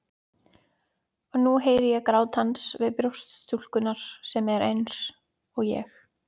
Og nú heyri ég grát hans við brjóst stúlkunnar sem er eins- og ég.